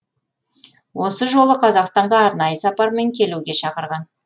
осы жолы қазақстанға арнайы сапармен келуге шақырған